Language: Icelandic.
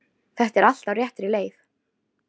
Þetta er allt á réttri leið.